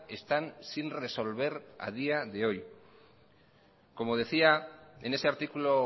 están sin resolver a día de hoy como decía en ese artículo